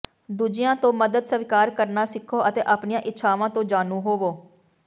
ਦੂਜਿਆਂ ਤੋਂ ਮਦਦ ਸਵੀਕਾਰ ਕਰਨਾ ਸਿੱਖੋ ਅਤੇ ਆਪਣੀਆਂ ਇੱਛਾਵਾਂ ਤੋਂ ਜਾਣੂ ਹੋਵੋ